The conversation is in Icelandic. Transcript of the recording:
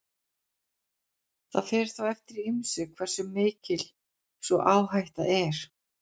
það fer þó eftir ýmsu hversu mikil sú áhætta er